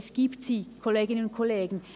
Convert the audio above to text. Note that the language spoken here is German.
Es gibt sie, Kolleginnen und Kollegen.